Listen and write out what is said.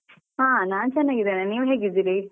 ಹಾ ನಾನು ಚೆನ್ನಾಗಿದ್ದೇನೆ ನೀವು ಹೇಗಿದ್ದೀರಿ?